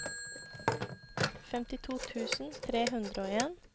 femtito tusen tre hundre og en